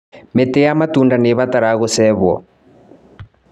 Mĩtĩ ya matunda nĩibataraga gũcehwo.